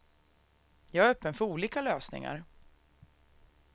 Jag är öppen för olika lösningar.